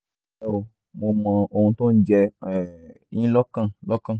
ẹ nlẹ́ o mo mọ ohun tó ń jẹ um yín lọ́kàn lọ́kàn